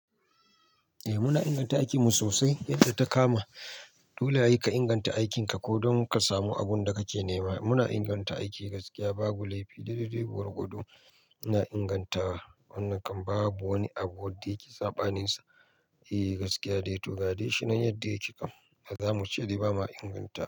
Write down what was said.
Eh muna inganta aikimu sosai yadda ta kama. Dole ia ka inganta aikinka ko don ka samu abin da kake nema. Muna inganta aiki gaskiya, babu laifi. Daidai de gwargwado ina inganta wannan kam babu wani abu da yake saɓaninsa. Eh gaskiya dai to ga dai shi nan yadda yake kam, ba zamu ce dai bama inganta.